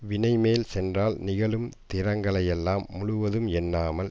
வினைமேல் சென்றால் நிகழும் திறங்களையெல்லாம் முழுவதும் எண்ணாமல்